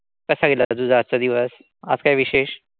कसा गेला आता तुझा आजचा दिवस? आज काय विशेष?